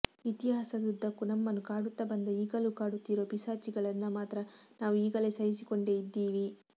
ಇತಿಹಾಸದುದ್ದಕ್ಕೂ ನಮ್ಮನ್ನು ಕಾಡುತ್ತ ಬಂದ ಈಗಲೂ ಕಾಡುತ್ತಿರುವ ಪಿಶಾಚಿಗಳನ್ನ ಮಾತ್ರ ನಾವು ಈಗಲೂ ಸಹಿಸಿಕೊಂಡೇ ಇದ್ದೀವಿ